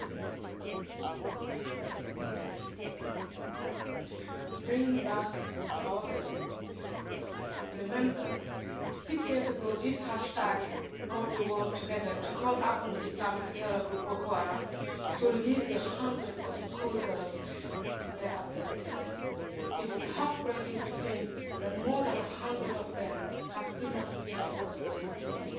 Madam President, Bring back our girls'. Remember six years ago this hashtag brought the world together to call upon the Islamic terror group Boko Haram to release the hundreds of schoolgirls they abducted. It is heart breaking to think that more than 100 of them have still not returned to their homes today.